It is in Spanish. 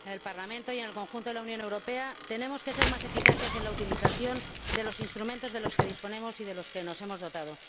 En el Parlamento y en el conjunto de la Unión Europea tenemos que ser más eficaces en la utilización de los instrumentos de los que disponemos y de los que nos hemos dotado.